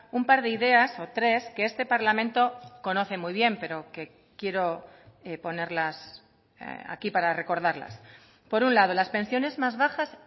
un par de ideas o tres que este parlamento conoce muy bien pero que quiero ponerlas aquí para recordarlas por un lado las pensiones más bajas